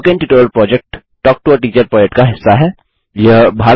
spoken tutorial project talk to a teacher project का हिस्सा है